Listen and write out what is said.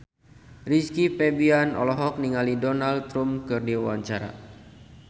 Rizky Febian olohok ningali Donald Trump keur diwawancara